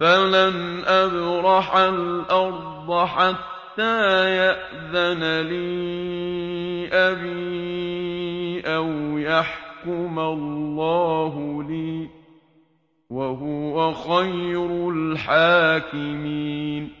فَلَنْ أَبْرَحَ الْأَرْضَ حَتَّىٰ يَأْذَنَ لِي أَبِي أَوْ يَحْكُمَ اللَّهُ لِي ۖ وَهُوَ خَيْرُ الْحَاكِمِينَ